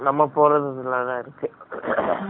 ம்ம்